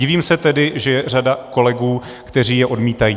Divím se tedy, že je řada kolegů, kteří je odmítají."